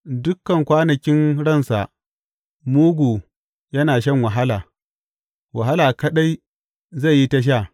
Dukan kwanakin ransa mugu yana shan wahala, wahala kaɗai zai yi ta sha.